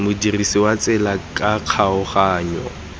modirisi wa tsela ka kgaoganyo